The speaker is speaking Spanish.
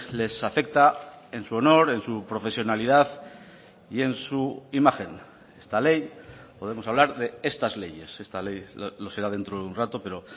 les afecta en su honor en su profesionalidad y en su imagen esta ley podemos hablar de estas leyes esta ley lo será dentro de un rato pero